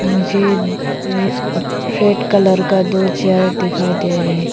मुझे red colour का दो चेयर दिखाई दे रहे है।